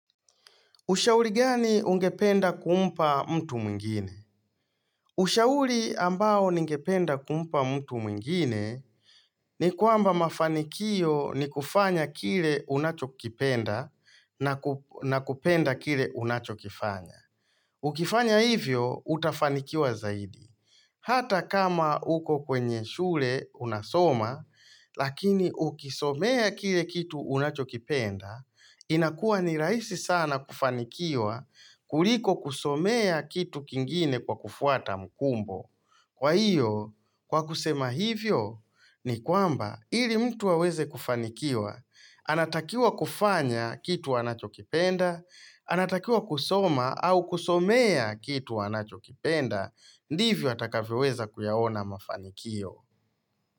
Ushauri gani ungependa kumpa mtu mwingine? Ushauri ambao ningependa kumpa mtu mwingine ni kwamba mafanikio ni kufanya kile unachokipenda na ku na kupenda kile unachokifanya. Ukifanya hivyo, utafanikiwa zaidi. Hata kama uko kwenye shule unasoma, lakini ukisomea kile kitu unachokipenda, inakuwa ni rahisi sana kufanikiwa kuliko kusomea kitu kingine kwa kufuata mkumbo. Kwa hiyo, kwa kusema hivyo, ni kwamba ili mtu aweze kufanikiwa, anatakiwa kufanya kitu anachokipenda, anatakiwa kusoma au kusomea kitu wanachokipenda, ndivyo atakavyoweza kuyaona mafanikio.